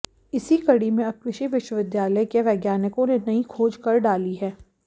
इसी कड़ी में अब कृषि विश्वविद्यालय के वैज्ञानिकों ने नई खोज कर डाली है